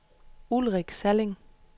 Ulrik Salling